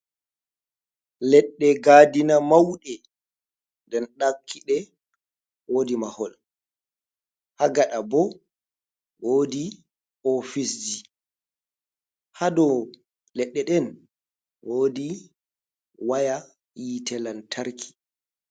Ledɗe gadina mauɗe. nden ɗakkiɗe wodi mahol, ha gada bo wodi ofisji, hado ledɗe ɗen wodi waya yite lantarki.